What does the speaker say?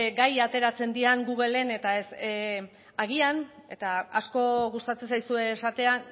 gai ateratzen diren googlen eta agian eta asko gustatzen zaizue esatea